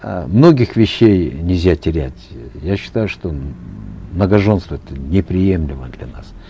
э многих вещей нельзя терять я считаю что многоженство это неприемлемо для нас